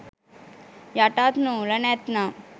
යටත් නූල නැත්නම්